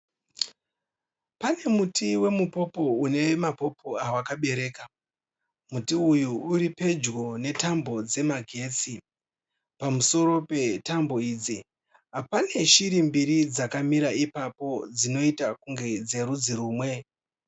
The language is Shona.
Pane muti weMupopo une mapopo awakabereka. Muti uyu uri pedyo netambo dzemagetsi. Pamusoro petambo idzi pane shiri mbiri dzakamirapo dzinoita kunge dzerudzi rumwe.